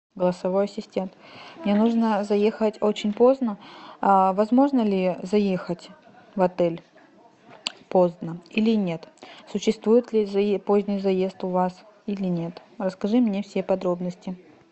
голосовой ассистент мне нужно заехать очень поздно возможно ли заехать в отель поздно или нет существует ли поздний заезд у вас или нет расскажи мне все подробности